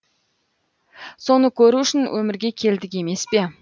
соны көру үшін өмірге келдік емес пе